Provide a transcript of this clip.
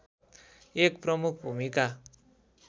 एक प्रमुख भूमिका